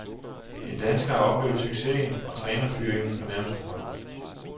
En dansker har oplevet succesen og trænerfyringen på nærmeste hold.